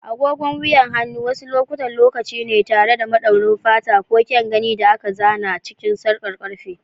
Agogon wuyan hannu wasu lokutan lokaci ne tare da madaurin fata ko kyan gani da aka zana cikin sarkar karfe.